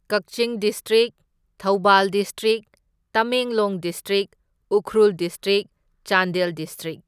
Kakching district, Thoubal district, Tamenglong district, Ukhrul district, Chandel district.